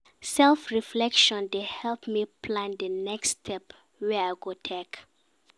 Self-reflection dey help me plan di next step wey I go take.